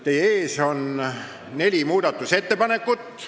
Teie ees on neli muudatusettepanekut.